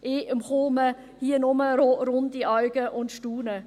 Ich erhalte hier nur runde Augen und staune.